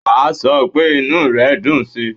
Wà á sọ pé inú re dùn síi.